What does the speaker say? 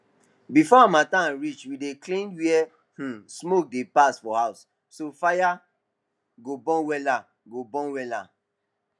before harmattan reach we dey clean where um smoke dey pass for house so fire go burn wella go burn wella